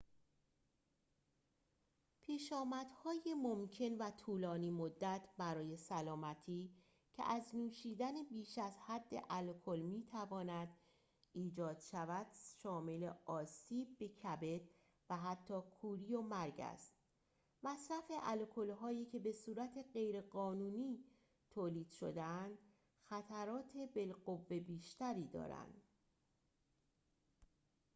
پیشامدهای ممکن و طولانی مدت برای سلامتی که از نوشیدن بیش از حد الکل می‌تواند ایجاد شود شامل آسیب به کبد و حتی کوری و مرگ است مصرف الکل‌هایی که بصورت غیرقانونی تولید شده‌اند خطرات بالقوه بیشتری دارند